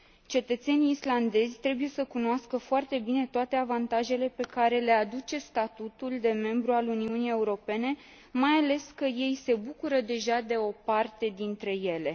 Cetățenii islandezi trebuie să cunoască foarte bine toate avantajele pe care le aduce statutul de membru al Uniunii Europene, mai ales că ei se bucură deja de o parte dintre ele.